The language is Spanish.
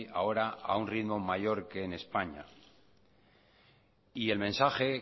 ahora a un ritmo mayor que en españa y el mensaje